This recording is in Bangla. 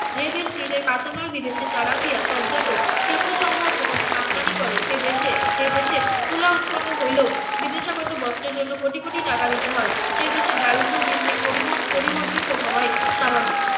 যে দেশ নিজের কাঁচামাল বিদেশে চালান দিয়া শিল্প সম্ভার পুনরায় আমদানি করে সে দেশে যে দেশে তুলা উৎপন্ন হইলেও বিদেশ এর জন্য কোটি কোটি টাকা দিতে হয় সে দেশে দারিদ্র দিন দিন ~ পরিবর্তিত হওয়ায় স্বাভাবিক